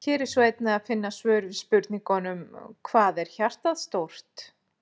Hér er einnig að finna svör við spurningunum: Hvað er hjartað stórt?